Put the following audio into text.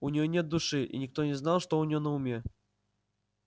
у нее нет души и никто не знает что у нее на уме